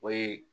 O ye